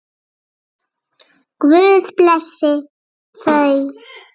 Guð blessi þau.